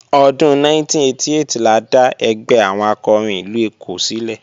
Ọdún 1988 la dá ẹgbẹ́ àwọn akọrin ìlú Èkó sílẹ̀